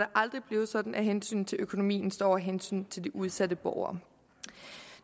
aldrig blive sådan at hensynet til økonomien stå over hensynet til de udsatte borgere